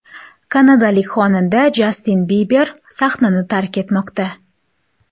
Kanadalik xonanda Jastin Biber sahnani tark etmoqda.